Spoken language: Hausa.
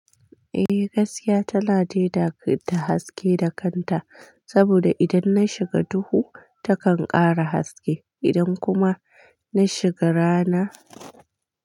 Eh, gaskiya tana daida ta haske da kanta saboda idan na shiga duhu takan ƙara haske idan kuma na shiga rana.